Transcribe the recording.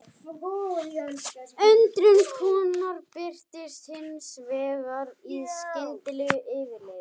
Undrun konunnar birtist hins vegar í skyndilegu yfirliði.